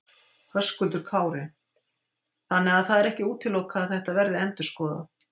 Höskuldur Kári: Þannig að það er ekki útilokað að þetta verði endurskoðað?